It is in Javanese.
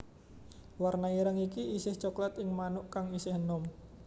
Warna ireng iki isih coklat ing manuk kang isih enom